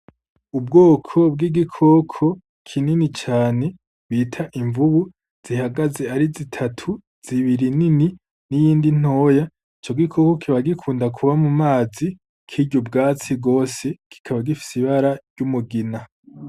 Ubwoko bw'igikoko kinini cane bita imvubu zihagaze ari zitatu, zibiri nini n'iyindi ntoyi. Ico gikoko kiba gikunda kuba mu mazi kirya ubwatsi gose, kikaba gifise ibara ry'umugina.